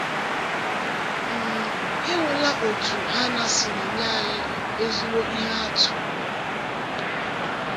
um Ị hụla otú Hannạ siri nye anyị ezigbo ihe atụ? um